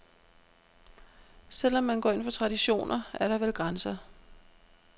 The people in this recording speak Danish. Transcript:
Selv om man går ind for traditioner, er der vel grænser.